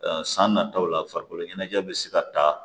san nataw la farikolo ɲɛnajɛ bɛ se ka taa